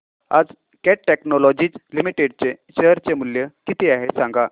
आज cat technologies limited चे share चे मूल्य किती आहे सांगा